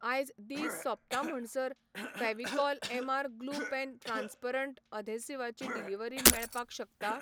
आयज दीस सोंपता म्हणसर Fevicol MR glue pen transparent एधेसिवां ची डिलिव्हरी मेळपाक शकता?